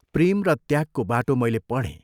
प्रेम र त्यागको बाटो मैले पढ़ें।